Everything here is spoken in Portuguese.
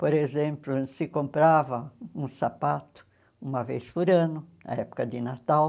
Por exemplo, se comprava um sapato uma vez por ano, na época de Natal,